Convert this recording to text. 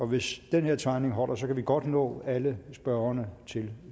hvis den her timing holder kan vi godt nå alle spørgerne til